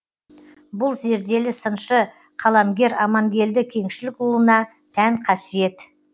бұл зерделі сыншы қаламгер амангелді кеңшілікұлына тән қасиет